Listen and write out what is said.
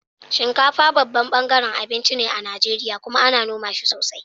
Shinkafa babban ɓangaren abinci ne a Najeriya kuma ana noma shi sosai.